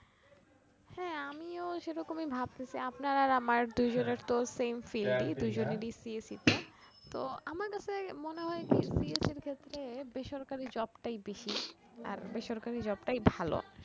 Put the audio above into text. হ্যা আমিও সেরকমই ভাবতেসি আপনার আর আমার দুইজনের তো same filed ই দুইজনের ই CSE তে তো আমার কাছে মনে হয় যে CSE এর ক্ষেত্রে বেসরকারি job টাই বেশি আর বেসরকারি job টাই ভালো ।